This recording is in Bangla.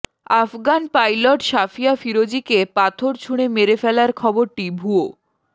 আফগান পাইলট সাফিয়া ফিরোজীকে পাথর ছুঁড়ে মেরে ফেলার খবরটি ভুয়ো